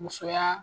Musoya